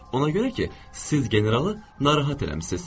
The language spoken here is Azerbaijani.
Ona görə ki, siz generalı narahat eləmisiz.